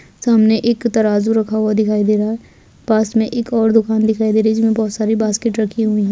सामने एक तराजू रखा हुआ दिखाई दे रहा है पास में एक और दुकान दिखाई दे रहा है जिसमें बहुत सारी बास्केट रखी हुई है।